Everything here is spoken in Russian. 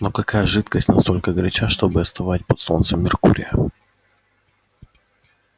но какая жидкость настолько горяча чтобы остывать под солнцем меркурия